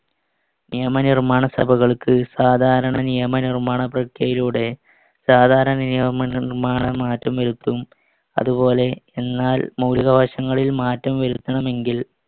നിയമനിർമ്മാണസഭകൾക്ക് സാധാരണ നിയമനിർമ്മാണ പ്രക്രിയയിലൂടെ സാധാരണ നിയമനിർമ്മാണ മാറ്റം വരുത്തും. അതുപോലെ എന്നാൽ മൗലികാവകാശങ്ങളിൽ മാറ്റം വരുത്തണമെങ്കിൽ